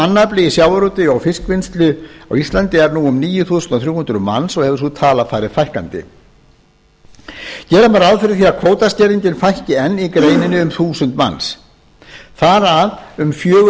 heildarmannafli í sjávarútvegi í fiskvinnslu á íslandi er nú um níu þúsund þrjú hundruð manns og hefur sú tala farið fækkandi gera má ráð fyrir að kvótaskerðingin fækki enn í greininni um þúsund manns þar af um fjögur